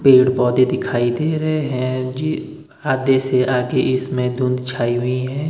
पेड़ पौधे दिखाई दे रहे हैं ये आधे से आगे इसमें धुन्ध छाई हुई है।